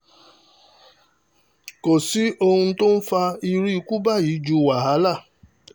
kò sì sí ohun tó ń fa irú ikú báyìí ju wàhálà